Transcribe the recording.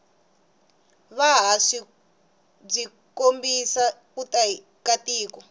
vuhhashi bwikombisa kutiya katiko